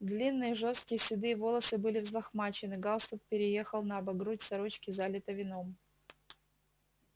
длинные жёсткие седые волосы были взлохмачены галстук переехал набок грудь сорочки залита вином